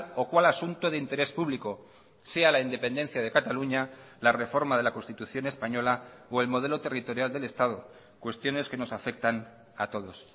o cual asunto de interés público sea la independencia de cataluña la reforma de la constitución española o el modelo territorial del estado cuestiones que nos afectan a todos